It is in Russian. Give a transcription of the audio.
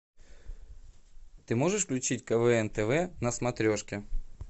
ты можешь включить квн тв на смотрешке